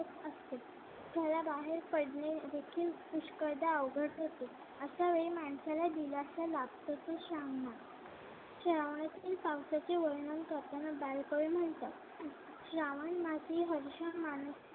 आणि पडणे देखील पुष्कळदा अवघड होते. अश्या वेळी माणसाला दिलासा लागतो. तो श्रावणात श्रावणातील पावसाचे वर्णन करताना बालकवी म्हणतात, श्रावण मासी हर्ष मानती.